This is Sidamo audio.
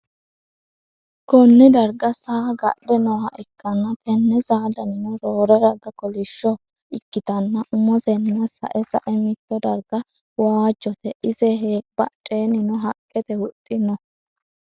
konne darga saa gadhe nooha ikkanna, tenne saa danino roore raga kolishsho ikkitanna, umosenna sa'e sa'e mito darga waajjote, ise badheennino haqqete huxxi no.